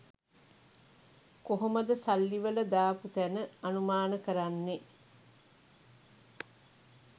කොහොමද සල්ලි වලදාපු තැන අනුමාන කරන්නේ?